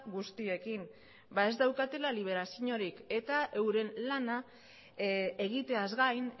guztiekin ez daukatela liberaziorik eta euren lana egiteaz gain